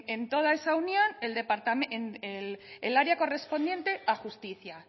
en toda esa unión el área correspondiente a justicia